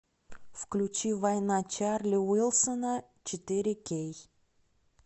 включи война чарли уилсона четыре кей